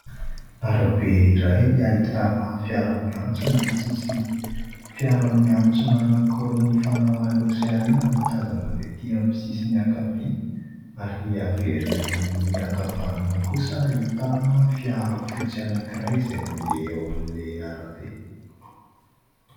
Arabe iray ahitana : fiara miantsona ny sisiny, fiara miantsona anankiroa ny mifanao aloha sy arina no tazana avy etỳ amin'ny sisiny ankavia ary avy ery amin'ny ankavanana kosa ahitana fiara fotsy anankiray izay mandeha ao amin'ilay arabe.